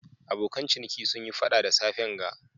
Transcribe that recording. Abokan ciniki sun Yi fada da safen ga.